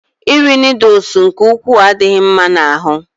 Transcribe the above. Iri noodles nke ukwuu adịghị mma n'ahụ